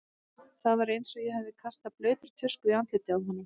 Það var eins og ég hefði kastað blautri tusku í andlitið á honum.